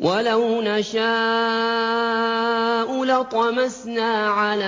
وَلَوْ نَشَاءُ لَطَمَسْنَا عَلَىٰ